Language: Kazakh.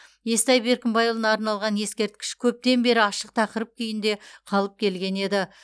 естай беркімбайұлына арналған ескерткіш көптен бері ашық тақырып күйінде қалып келген еді